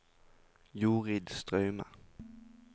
Jorid Straume